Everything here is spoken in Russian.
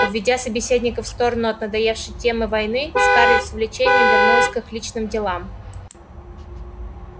уведя собеседников в сторону от надоевшей темы войны скарлетт с увлечением вернулась к их личным делам